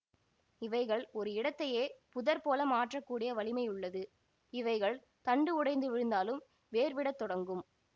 இவைகள் ஒரு இடத்தையே புதர் போல மாற்ற கூடிய வலிமையுள்ளது இவைகள் தண்டு உடைந்து விழுந்தாலும் வேர்விடத்தொடங்கும்